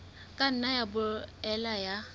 ka nna ya boela ya